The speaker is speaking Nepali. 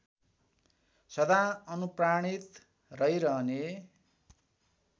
सदा अनुप्राणित रहिरहने